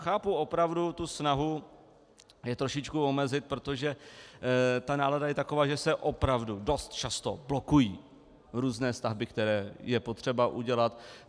Chápu opravdu tu snahu je trošičku omezit, protože ta nálada je taková, že se opravdu dost často blokují různé stavby, které je potřeba udělat.